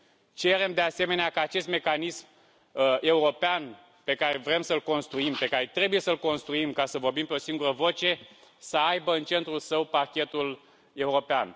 Cerem, de asemenea, ca acest mecanism european pe care vrem să îl construim, pe care trebuie să îl construim ca să vorbim pe o singură voce, să aibă în centrul său Parchetul European.